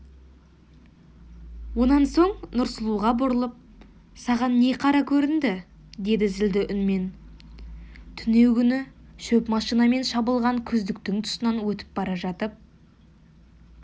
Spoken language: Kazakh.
онан соң нұрсұлуға бұрылып саған не қара көрінді деді зілді үнмен түнеугүнгі шөп машинамен шабылған күздіктің тұсынан өтіп бара жатып